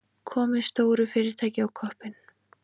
Komið stóru fyrirtæki á koppinn.